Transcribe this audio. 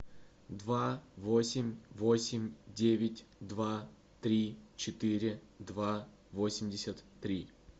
два восемь восемь девять два три четыре два восемьдесят три